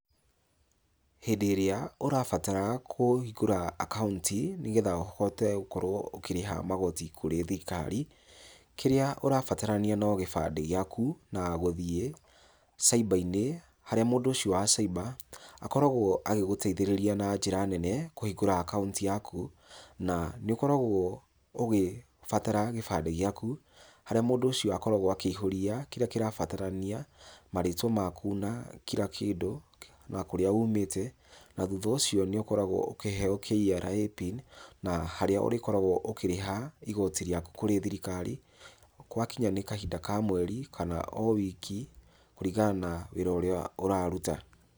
Hĩndĩ ĩrĩa ũrabatara kũhingũra akaũnti nĩgetha ũhote gũkorwo ũkirĩha magoti kũrĩ thirikari, kĩrĩa ũrabatarania no gĩbandĩ gĩaku na gũthiĩ cyber - inĩ harĩa mũndũ ũcio wa cyber , akoragwo agĩgũteithararĩa na njĩra nene kũhingũra account yakũ. Na, nĩ ũkoragwo ũgĩbatara gĩbandĩ gĩaku harĩa mũndũ ũcio akĩihũria kĩrĩa kĩrabatarania. Marĩtwa maku na kila kĩndũ, na kũrĩa umĩte na thutha wa ũcio nĩ ũkoragwo ũkĩheo Kra pin na harĩa ũrĩkoragwo ũkĩrĩha igooti rĩaku kũrĩ thirikari gwakinya nĩ kahinda ka mweri kana o wiki kũringana na wĩra ũrĩa ũraruta.